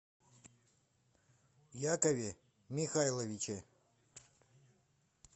якове михайловиче